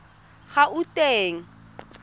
gauteng